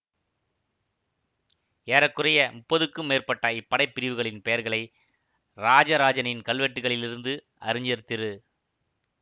ஏற குறைய முப்பதுக்கும் மேற்பட்ட இப்படைப் பிரிவுகளின் பெயர்களை இராஜராஜனின் கல்வெட்டுக்களிலிருந்து அறிஞர் திரு